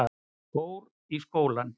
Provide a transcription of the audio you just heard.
Fór í skólann.